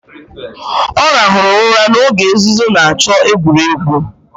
Ọ rahụru ụra n'oge nzuzo na-achọ egwuregwu